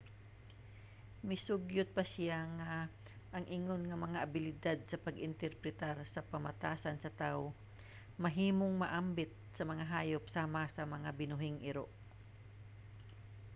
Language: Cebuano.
misugyot pa siya nga ang ingon nga mga abilidad sa pag-interpretar sa pamatasan sa tawo mahimong maambit sa mga hayop sama sa mga binuhing iro